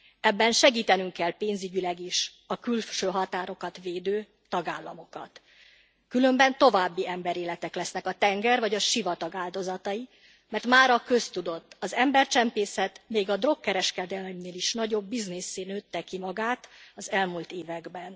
Ebben segítenünk kell pénzügyileg is a külső határokat védő tagállamokat, különben további emberéletek lesznek a tenger vagy a sivatag áldozatai, mert mára köztudott az embercsempészet még a drogkereskedelemnél nagyobb biznisszé nőtte ki magát az elmúlt években.